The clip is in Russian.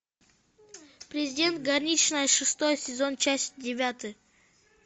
президент горничная шестой сезон часть девятая